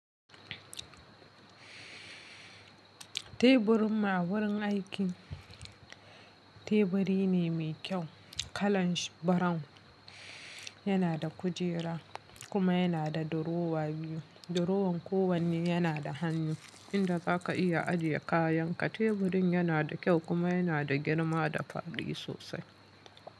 Teburin ma a wurin aikin teburi ne mai kyau, kalan shi brown. Yana da kujera kuma yana da durowa biyu. Durowan kowanne yana da hannu inda za ka iya ajiye kayanka. Teburin yana da kyau kuma yana da girma da faɗi sosai.